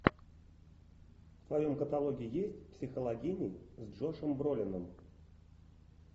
в твоем каталоге есть психологини с джошем бролином